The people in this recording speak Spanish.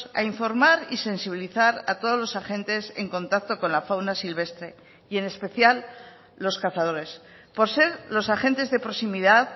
a informar y sensibilizar a todos los agentes en contacto con la fauna silvestre y en especial los cazadores por ser los agentes de proximidad